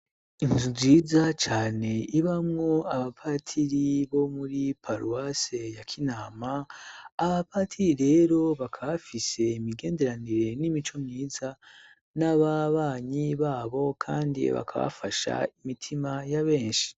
Inzu ziza cane ibamwo abapatiri bo muri paluwase ya kinama abapatiri rero bakaba bafise imigenderanire n'imico myiza n'ababanyi babo, kandi bakabafasha imitima ya benshi.